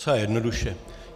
Docela jednoduše.